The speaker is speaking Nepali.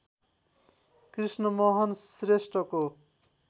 कृष्णमोहन श्रेष्ठको